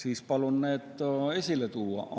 Ma palun need siis esile tuua.